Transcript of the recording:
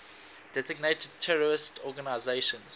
designated terrorist organizations